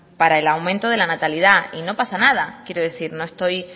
para el aumento de la natalidad y no pasa nada quiero decir no estoy